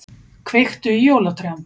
Kveiktu í jólatrjám